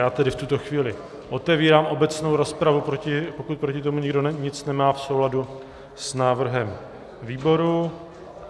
Já tedy v tuto chvíli otevírám obecnou rozpravu, pokud proti tomu nikdo nic nemá, v souladu s návrhem výboru.